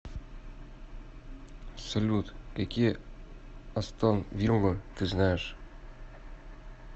салют какие астон вилла ты знаешь